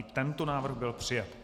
I tento návrh byl přijat.